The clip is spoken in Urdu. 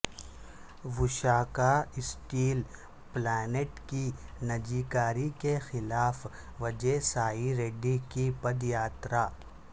وشاکھااسٹیل پلانٹ کی نجی کاری کے خلاف وجئے سائی ریڈی کی پدیاترا